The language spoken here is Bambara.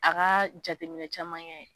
A ka jateminɛ caman ye